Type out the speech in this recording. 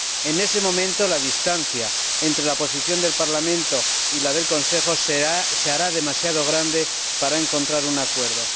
En ese momento la distancia entre la posición del Parlamento y la del Consejo se hará demasiado grande para encontrar un acuerdo.